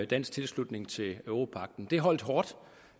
dansk tilslutning til europagten det holdt hårdt